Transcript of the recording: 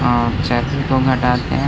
अ हटाते हैं।